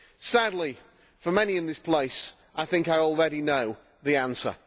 Sadly, for many in this place, I think I already know the answer.